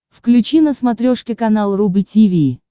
включи на смотрешке канал рубль ти ви